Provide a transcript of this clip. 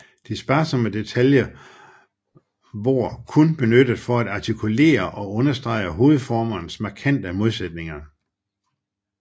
De sparsomme detaljer vår kun benyttet for at artikulere og understrege hovedformernes markante modsætninger